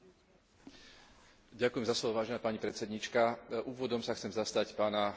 Úvodom sa chcem zastať pána prezidenta Klausa, ako aj postoja Českej republiky.